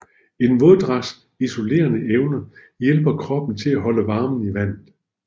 En våddragts isolerende evne hjælper kroppen til at holde varmen i vandet